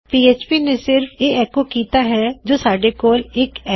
PHP ਨੇ ਕੀ ਕਿੱਤਾ ਹੈ ਕੀ ਉਸਨੇ ਐੱਕੋ ਆਊਟ ਕਰ ਦਿੱਤਾ ਹੈ ਕੀ ਜੋ ਸਾਡੇ ਕੋਲ ਹੈ ਉਹ ਇੱਕ ਅਰੈ ਹੈ